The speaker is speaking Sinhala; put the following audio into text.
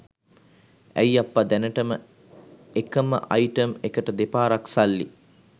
ඇයි අප්පා දැනටම එකම අයිටම් එකට දෙපාරක් සල්ලි